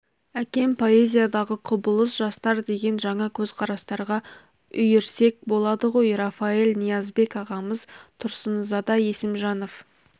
әкем поэзиядағы құбылыс жастар деген жаңа көзқарастарға үйірсек болады ғой рафаэль ниязбек ағамыз тұрсынзада есімжанов